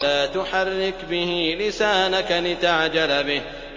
لَا تُحَرِّكْ بِهِ لِسَانَكَ لِتَعْجَلَ بِهِ